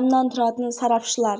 баллды қоржынға салды